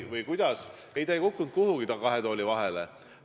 Ei, see ei kukkunud kuhugi kahe tooli vahele.